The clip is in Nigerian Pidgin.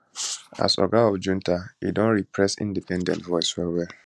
as oga of junta e don repress independent voices wellwell